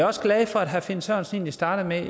også glad for at herre finn sørensen startede